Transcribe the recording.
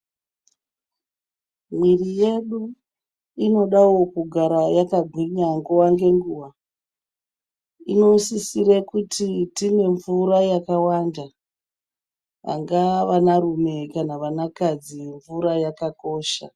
Miri yedu inodawo kugara yakagwinya nguwa ngenguwa inosisira kuti timwe mvura yakawanda angava vana rume kana vana kadzi mvura yakakosha.